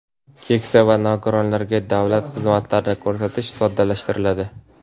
keksa va nogironlarga davlat xizmatlarini ko‘rsatish soddalashtiriladi.